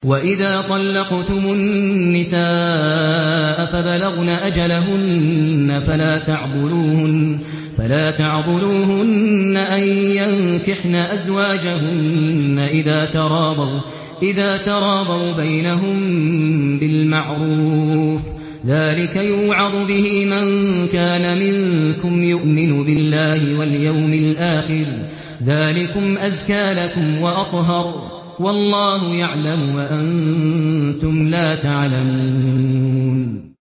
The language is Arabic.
وَإِذَا طَلَّقْتُمُ النِّسَاءَ فَبَلَغْنَ أَجَلَهُنَّ فَلَا تَعْضُلُوهُنَّ أَن يَنكِحْنَ أَزْوَاجَهُنَّ إِذَا تَرَاضَوْا بَيْنَهُم بِالْمَعْرُوفِ ۗ ذَٰلِكَ يُوعَظُ بِهِ مَن كَانَ مِنكُمْ يُؤْمِنُ بِاللَّهِ وَالْيَوْمِ الْآخِرِ ۗ ذَٰلِكُمْ أَزْكَىٰ لَكُمْ وَأَطْهَرُ ۗ وَاللَّهُ يَعْلَمُ وَأَنتُمْ لَا تَعْلَمُونَ